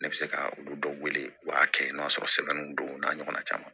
Ne bɛ se ka olu dɔw wele u b'a kɛ n'o y'a sɔrɔ sɛbɛninw don u n'a ɲɔgɔnna caman